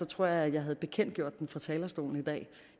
tror jeg at jeg havde bekendtgjort den fra talerstolen i dag